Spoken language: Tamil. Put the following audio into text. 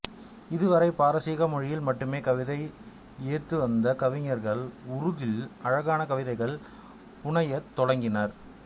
இதுவரை பாரசீக மொழியில் மட்டுமே கவிதை யாத்துவந்த கவிஞர்கள் உருதில் அழகான கவிதைகள் புனையத் தொடங்கினர்